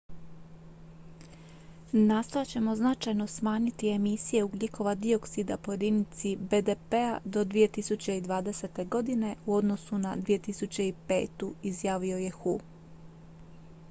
"""nastojat ćemo značajno smanjiti emisije ugljikova dioksida po jedinici bdp-a do 2020. godine u odnosu na 2005." izjavio je hu.